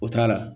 O t'a la